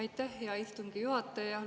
Aitäh, hea istungi juhataja!